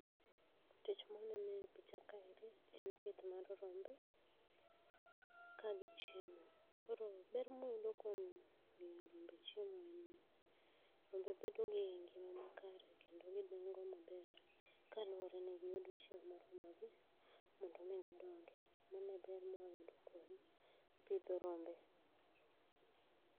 Tich mwanene picha kaeri en pith mar rombe, kagichiemo. Koro ber mwayudo kwom mio rombe chiemo en ni, rombe bedo gi ngima makare kendo gidongo maber kaluore ni giyudo chiemo ma romo gi, mondo mi gidongi. Mano e ber mwayudo kwom pidho rombe.